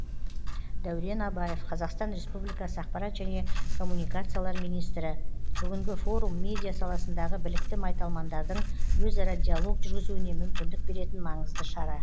дәурен абаев қазақстан республикасы ақпарат және коммуникациялар министрі бүгінгі форум медиа саласындағы білікті майталмандардың өзара диалог жүргізуіне мүмкіндік беретін маңызды шара